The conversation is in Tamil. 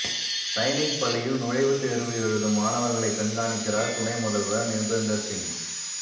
சைனிக் பள்ளியில் நுழைவுத் தோ்வு எழுதும் மாணவா்களைக் கண்காணிக்கிறாா் துணை முதல்வா் நிா்பேந்தா் சிங்